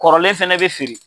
Kɔrɔlen fɛnɛ be feere